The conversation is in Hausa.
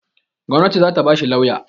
Gwanati zata ba shi lauya